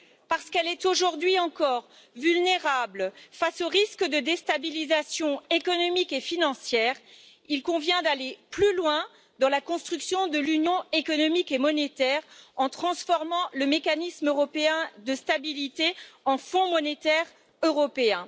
Parce qu'elle est, aujourd'hui encore, vulnérable face aux risques de déstabilisation économique et financière, il convient d'aller plus loin dans la construction de l'Union économique et monétaire en transformant le Mécanisme européen de stabilité en Fonds monétaire européen.